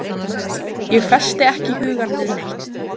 Ég festi ekki hugann við neitt.